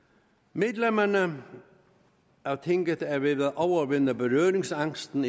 medlemmerne af tinget er ved at overvinde berøringsangsten